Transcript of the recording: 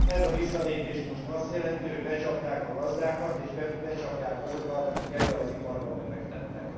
Ez a lépés most azt jelenti, hogy becsapták a gazdákat, és becsapják azokat, akik ebbe az iparba befektettek.